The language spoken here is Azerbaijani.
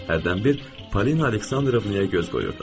Hərdən bir Polina Aleksandrovnaya göz qoyurdum.